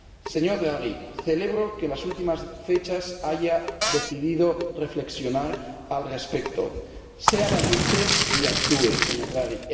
Señor Draghi, celebro que en las últimas fechas haya decidido reflexionar al respecto. Sea valiente y actúe, señor Draghi.